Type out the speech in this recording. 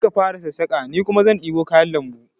Kai ka fara sassaƙa ni kuma zan ɗebo kayan lambu